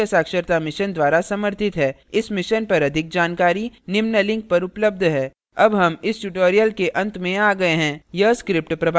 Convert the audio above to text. इस mission पर अधिक जानकारी निम्न लिंक पर उपलब्ध है